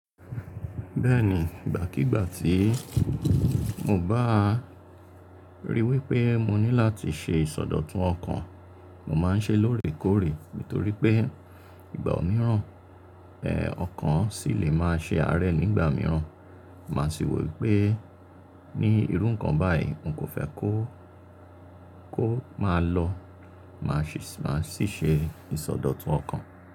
Bẹ́ẹ̀ni, ìgbàkígbà tí mo bá ríi wí pé mo ní láti ṣe ìsọdọ̀tun ọkàn, mo máa ń ṣe lóòrèkóòrè. Nítorí pé ìgbà mìíràn, ẹ́ ọkàn sì lè máa ṣe àárẹ̀ nígbà mìíràn. Máa sì wò wípé ní irú ǹnkan báyìí, n kò fẹ́ kó, kó máa lọ, màá sì ṣe ìsọdọ̀tun ọkàn.